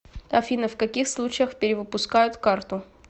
афина в каких случаях перевыпускают карту